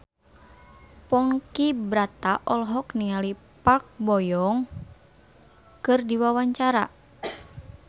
Ponky Brata olohok ningali Park Bo Yung keur diwawancara